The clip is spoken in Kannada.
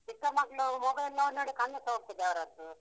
ಚಿಕ್ಕ ಮಕ್ಳು mobile ನೋಡ್‍ ನೋಡಿ ಕಣ್ಣುಸ ಹೋಗ್ತದೆ ಅವರದ್ದು.